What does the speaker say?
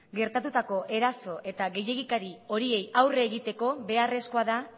gertatutako eraso eta gehiegikeri horiei aurre egiteko beharrezkoa da